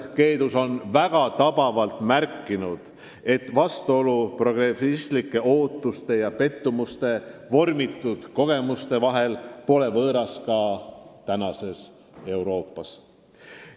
Keedus on väga tabavalt märkinud, et vastuolu progressivistlike ootuste ja pettumustest vormitud kogemuste vahel pole võõras ka tänapäeva Euroopas.